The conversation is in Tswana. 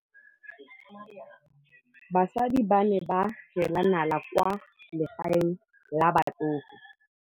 Basadi ba ne ba jela nala kwaa legaeng la batsofe.